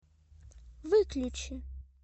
выключи